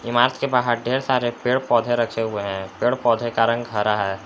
इमारत के बाहर ढेर सारे पेड़ पौधे रखे हुए हैं पेड़ पौधे का रंग हरा है।